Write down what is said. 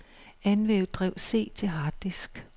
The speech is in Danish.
Anvend drev C til harddisk.